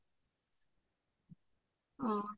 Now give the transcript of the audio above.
অ